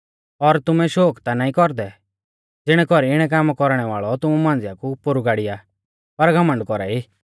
और तुमै शोक ता नाईं कौरदै ज़िणै कौरी इणै कामा कौरणै वाल़ौ तुमु मांझ़िया कु पोरु गाड़िया पर घमण्ड कौरा ई